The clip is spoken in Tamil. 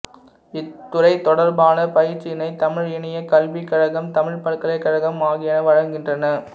இத் துறை தொடர்பான பயிற்சியினை தமிழ் இணையக் கல்விக்கழகம் தமிழ்ப் பல்கலைக்கழகம் ஆகியன வழங்குகின்றன